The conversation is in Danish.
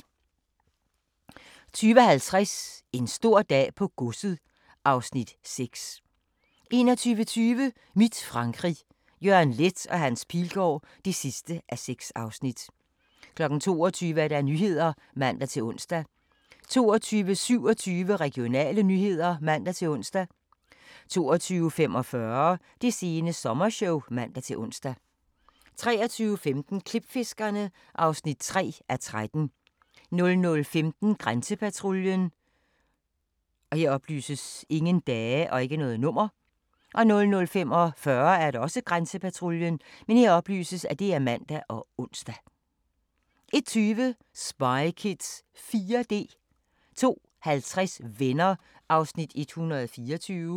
20:50: En stor dag på godset (Afs. 6) 21:20: Mit Frankrig – Jørgen Leth & Hans Pilgaard (6:6) 22:00: Nyhederne (man-ons) 22:27: Regionale nyheder (man-ons) 22:45: Det sene sommershow (man-ons) 23:15: Klipfiskerne (3:13) 00:15: Grænsepatruljen 00:45: Grænsepatruljen (man og ons) 01:20: Spy Kids 4D 02:50: Venner (124:235)